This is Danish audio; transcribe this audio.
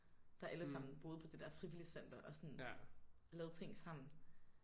Der alle sammen boede på det der frivilligcenter og sådan lavede ting sammen